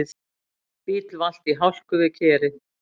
Bíll valt í hálku við Kerið